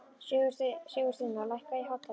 Sigursteina, lækkaðu í hátalaranum.